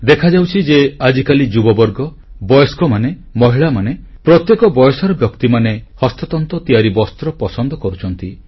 ଦେଖାଯାଉଛି ଯେ ଆଜିକାଲି ଯୁବବର୍ଗ ବୟସ୍କମାନେ ମହିଳାମାନେ ପ୍ରତ୍ୟେକ ବୟସର ବ୍ୟକ୍ତିମାନେ ହସ୍ତତନ୍ତ ତିଆରି ବସ୍ତ୍ର ପସନ୍ଦ କରୁଛନ୍ତି